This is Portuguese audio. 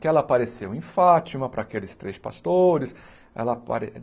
que ela apareceu em Fátima, para aqueles três pastores. Ela